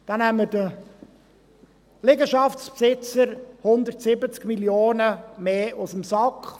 So nehmen wir den Liegenschaftsbesitzern 170 Mio. Franken mehr aus dem Sack.